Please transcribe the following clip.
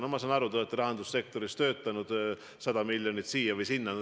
No ma saan aru, te olete rahandussektoris töötanud – 100 miljonit siia või sinna.